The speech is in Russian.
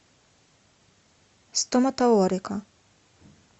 стоматолорика